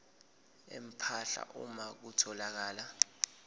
empahla uma kutholakala